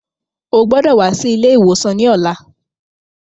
O gbọdọ̀ wá sí ilé ìwòsàn ní ọ̀la.